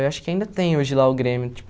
Eu acho que ainda tem hoje lá o Grêmio tipo.